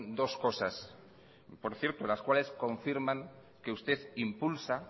dos cosas por cierto las cuales confirman que usted impulsa